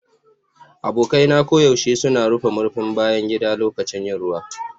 Abokai na koyaushe suna rufe murfin bayan gida lokacin yin ruwa.